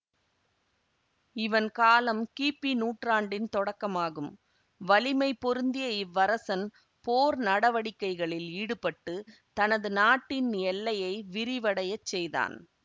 இவன் காலம் கிபி நூற்றாண்டின் தொடக்கம் ஆகும் வலிமை பொருந்திய இவ்வரசன் போர் நடவடிக்கைகளில் ஈடுபட்டு தனது நாட்டின் எல்லையை விரிவடையச் செய்தான்